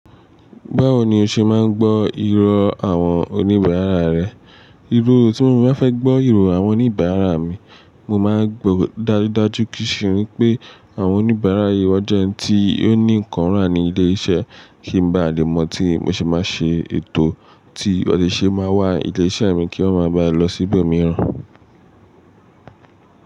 Báwo ni o ṣe máa ń gbọ́ irọ́ àwọn oníbàárà rẹ? Irọ́ tí mo bá fẹ́ gbọ́ ìró àwọn oníbàárà mi, mo máa ń gbò dájúdájú kí ṣe wípé àwọn oníbàárà yìí wọ́n jẹ́ ẹni tí ó ní nǹkan rán ní ilé iṣẹ́ kí ń ba à lè mọ̀ tí mo ṣe máa ṣe ètò tí wọ́n sì ṣe máa wà ní ilé iṣẹ́ mi kí wọ́n máa ba lọ sí ibòmíràn.